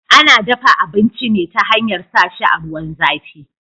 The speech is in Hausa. Ana dafa abinci ne ta hanyar sa shi a ruwan zafi